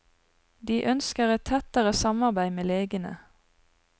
De ønsker et tettere samarbeid med legene.